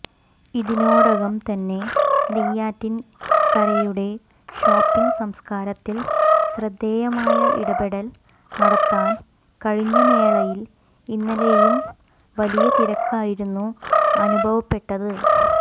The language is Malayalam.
ഇതിനോടകം തന്നെ നെയ്യാറ്റിൻരയുടെ ഷോപ്പിംഗ് സംസ്കാരത്തിൽ ശ്രദ്ധേയമായ ഇടപെടൽ നടത്താൻ കഴിഞ്ഞ മേളയിൽ ഇന്നലെയും വലിയ തിരക്കായിരുന്നു അനുഭവപ്പെട്ടത്